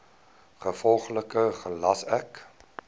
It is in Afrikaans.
gevolglik gelas ek